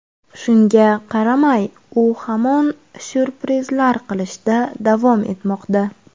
Shunga qaramay u hamon syurprizlar qilishda davom etmoqda.